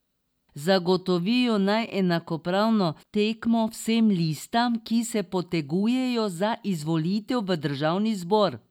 Zagotovijo naj enakopravno tekmo vsem listam, ki se potegujejo za izvolitev v državni zbor.